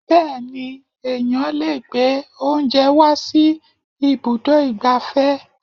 Bẹẹni, ẹ̀yán lè gbé oúnjẹ wá sí ibùdó igbàfẹ́.